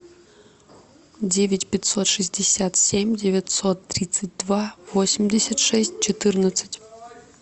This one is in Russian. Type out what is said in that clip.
девять пятьсот шестьдесят семь девятьсот тридцать два восемьдесят шесть четырнадцать